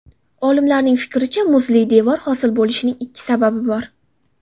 Olimlarning fikricha, muzli devor hosil bo‘lishining ikki sababi bor.